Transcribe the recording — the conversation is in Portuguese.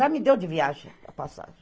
Já me deu de viagem a passagem.